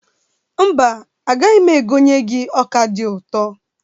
Mba, agaghị m egonye ọ́kà dị ụtọ.